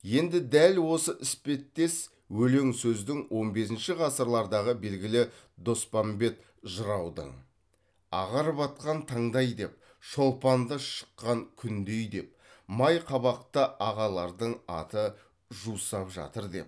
енді дәл осы іспеттес өлең сөздің он бесінші ғасырлардағы белгілі доспамбет жыраудың ағарып атқан таңдай деп шолпанды шыққан күндей деп май қабақта ағалардың аты жусап жатыр деп